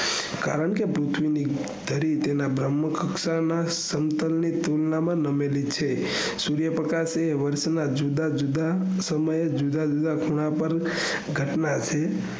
કારણ કે પૃથ્વી તેના ધરી બ્રહ્મહ કક્ષાના સમતલ ની તુલના માં નમેલી છે સૂર્ય પ્રકાશ એ વર્ષના જુદા જુદા સમયે જુદા જુદા ખૂણા પર ઘટના છે